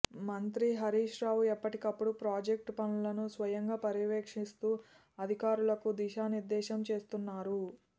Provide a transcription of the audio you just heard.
మంత్రి హరీశ్ రావు ఎప్పటికప్పుడు ప్రాజెక్టు పనులను స్వయంగా పర్యవేక్షిస్తూ అధికారులకు దిశానిర్దేశం చేస్తున్నారు